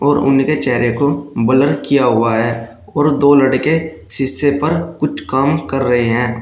और उनके चेहरे को ब्लर किया हुआ है और दो लड़के शीशे पर कुछ काम कर रहे हैं।